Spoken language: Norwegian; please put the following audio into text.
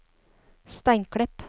Steinklepp